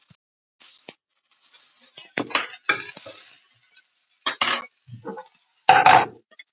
Enn þann dag í dag eru þetta helstu tekjulindir íbúanna.